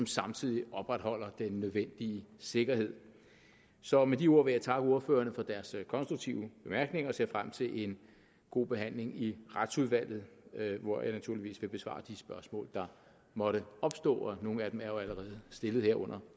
samtidig opretholder den nødvendige sikkerhed så med de ord vil jeg takke ordførerne for deres konstruktive bemærkninger og ser frem til en god behandling i retsudvalget hvor jeg naturligvis vil besvare de spørgsmål der måtte opstå nogle af dem er jo allerede stillet her under